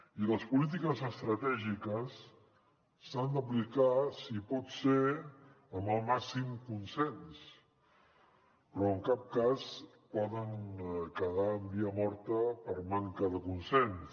i les polítiques estratègiques s’han d’aplicar si pot ser amb el màxim consens però en cap cas poden quedar en via morta per manca de consens